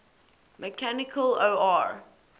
mechanical or